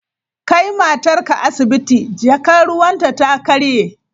Kai matarka asibiti! Jakar ruwanta ta karye!